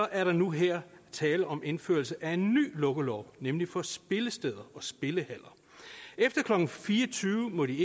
er der nu her tale om indførelse af en ny lukkelov nemlig for spillesteder og spillehaller efter klokken fire og tyve må de